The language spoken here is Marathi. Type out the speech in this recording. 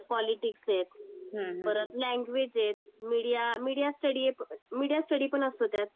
परत पॉलिटिक्स आहे, परत लॅंग्वेज आहेत, media media studies, media study पण असतो त्यात.